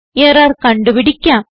error കണ്ടുപിടിക്കാം